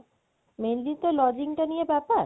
mainly তো lodging তা নিয়ে ব্যাপার